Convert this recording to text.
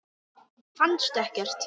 Fannstu ekkert?